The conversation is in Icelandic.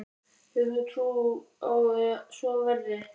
Hefur þú trú á að svo verði?